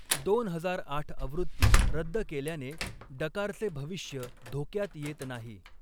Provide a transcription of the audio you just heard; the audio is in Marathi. दोन हजार आठ आवृत्ती रद्द केल्याने डकारचे भविष्य धोक्यात येत नाही.